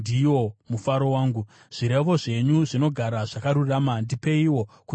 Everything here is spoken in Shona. Zvirevo zvenyu zvinogara zvakarurama; ndipeiwo kunzwisisa kuti ndirarame.